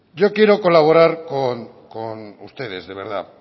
yo quiero colaborar con ustedes de verdad